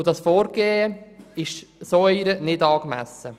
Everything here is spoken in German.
Dieses Vorgehen war dieser nicht angemessen.